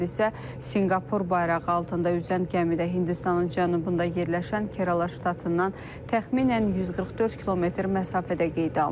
Hadisə Sinqapur bayrağı altında üzən gəmidə Hindistanın cənubunda yerləşən Kerala ştatından təxminən 144 km məsafədə qeydə alınıb.